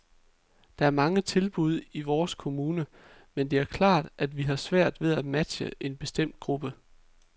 Der er mange tilbud i vores kommune, men det er klart, at vi har svært ved at matche en bestemt gruppe.